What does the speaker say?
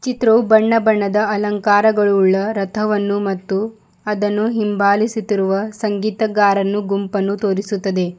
ಚಿತ್ರವೂ ಬಣ್ಣ ಬಣ್ಣದ ಅಲಂಕರಗಳುಳ್ಳ ರಥವನ್ನು ಮತ್ತು ಅದನ್ನು ಹಿಂಬಲಿಸುತ್ತಿರುವ ಸಂಗೀತಗಾರನ್ನು ಗುಂಪನ್ನು ತೋರಿಸುತ್ತದೆ.